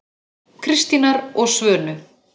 Kristínar og Svönu.